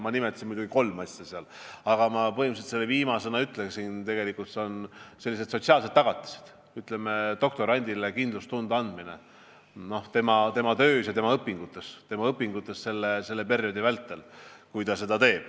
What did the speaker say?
Ma nimetasin muidugi kolme asja, aga ma viimasena mainisin sotsiaalseid tagatisi, doktorandile kindlustunde andmist tema töös ja õpingutes selle perioodi vältel .